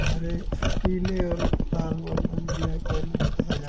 हरे पीले लाल balloon black balloon से सजाया--